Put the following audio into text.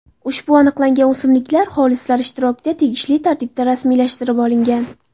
Ushbu aniqlangan o‘simliklar xolislar ishtirokida tegishli tartibda rasmiylashtirilib olingan.